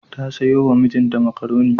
Ta sayo wa mijinta makaroni.